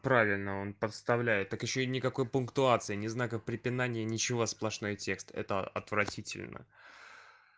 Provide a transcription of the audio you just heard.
правильно он подставляет так ещё и никакой пунктуации не знаков препинания ничего сплошной текст это отвратительно